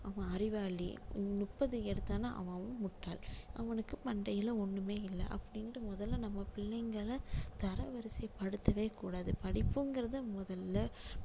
அவன் அறிவாளி முப்பது எடுத்தான்னா அவன் வந்து முட்டாள் அவனுக்கு மண்டையில ஒண்ணுமே இல்லை அப்படின்னுட்டு முதல்ல நம்ம பிள்ளைங்கள தரவரிசை படுத்தவே கூடாது படிப்புங்கிறது முதல்ல